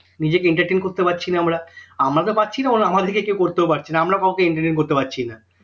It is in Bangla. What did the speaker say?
নিজেকে entertain করতে পারছি না আমরা আমরা তো পারছি না আবার আমাদেরকে কেউ করতেও পারছি না আমরা কাউকে entertain করতে পারছি না